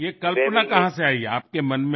ये कल्पना कहाँ से आई आपके मन में